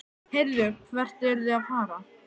Heyrðu, hvert eruð þið að fara?